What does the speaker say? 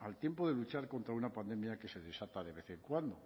al tiempo de luchar contra una pandemia que se desata de vez en cuando